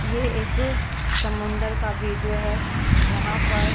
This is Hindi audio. ये एक समुंदर का वीडियो है यहां पर --